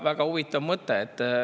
Väga huvitav mõte.